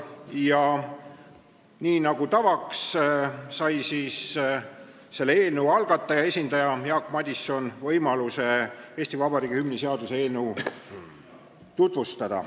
a. Nii nagu tavaks, sai eelnõu algataja esindaja, kelleks oli Jaak Madison, võimaluse Eesti Vabariigi hümni seaduse eelnõu tutvustada.